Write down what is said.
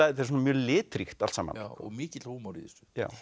þetta er mjög litríkt allt saman og mikill húmor í þessu